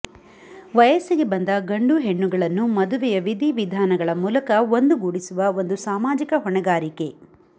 ವಯಸ್ಸಿಗೆ ಬಂದ ಗಂಡು ಹೆಣ್ಣಗಳನ್ನು ಮದುವೆಯ ವಿದಿವಿಧಾನಗಳ ಮೂಲಕ ಒಂದು ಗೂಡಿಸುವ ಒಂದು ಸಾಮಾಜಿಕ ಹೊಣೆಗಾರಿಕೆ